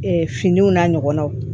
finiw n'a ɲɔgɔnnaw